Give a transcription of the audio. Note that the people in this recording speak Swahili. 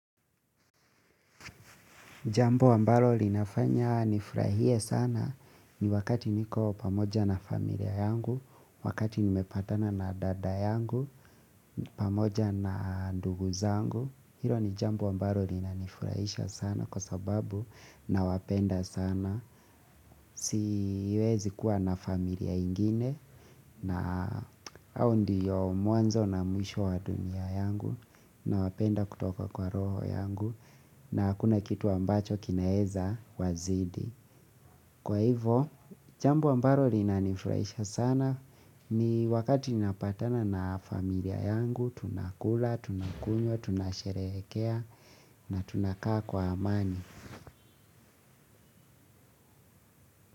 Jambo ambalo linafanya nifurahie sana ni wakati niko pamoja na familia yangu, wakati nimepatana na dada yangu, pamoja na ndugu zangu. Hilo ni jambu ambalo linanifurahisha sana kwa sababu nawapenda sana. Siwezi kuwa na familia ingine na hao ndiyo mwanzo na mwisho wa dunia yangu nawapenda kutoka kwa roho yangu. Na hakuna kitu ambacho kinaeza wazidi. Kwa hivo, jambo ambalo linanifuraisha sana. Ni wakati ninapatana na familia yangu. Tunakula, tunakunywa, tunasherehekea. Na tunakaa kwa amani.